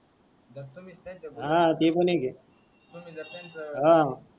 दस्त मास्तन ते. हा ते भी आहे की. तुमी पण त्यांच. हा.